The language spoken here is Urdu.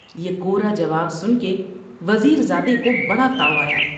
یہ کورا جواب سن کے وزیر زادے کو بڑا تاؤ آیا ۔